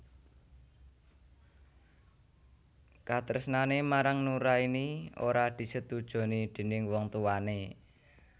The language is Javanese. Katresnané marang Nuraini ora disetujoni déning wong tuwané